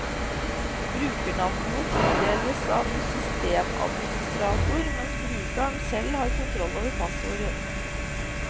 Brukernavnene tildeles av systemadministrator, mens brukeren selv har kontroll over passordet.